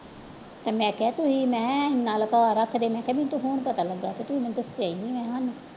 ਤੇ ਮੈਂ ਕਿਹਾ ਤੁਸੀਂ ਮੈਂ ਇੰਨਾ ਲੁਕਾਅ ਰੱਖਦੇ ਮੈਂ ਕਿਹਾ ਮੈਨੂੰ ਤਾਂ ਹੁਣ ਪਤਾ ਲੱਗਾ ਤੇ ਤੁਸੀਂ ਮੈਨੂੰ ਦੱਸਿਆ ਹੀ ਨੀ